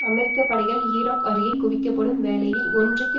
அமெரிக்க படைகள் ஈராக் அருகே குவிக்கப்படும் வேளையில் ஒன்றுக்கு